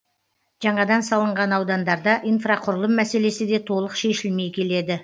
жаңадан салынған аудандарда инфрақұрылым мәселесі де толық шешілмей келеді